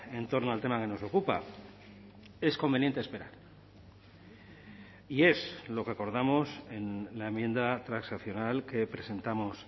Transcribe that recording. en torno al tema que nos ocupa es conveniente esperar y es lo que acordamos en la enmienda transaccional que presentamos